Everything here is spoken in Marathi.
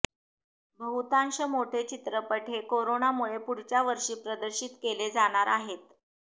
बहुतांश मोठे चित्रपट हे कोरोनामुळे पुढच्या वर्षी प्रदर्शित केले जाणार आहेत